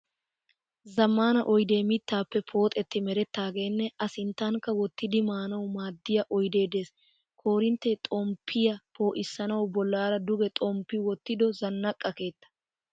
Zammaana oyidee mittaappe pooxetti merettaageenne a sinttankka wottidi maanawu maaddiya oyide des. Koorintte xomppiyaa poo'issanawu bollaara duge xomppi wottido zannaqa keettaa.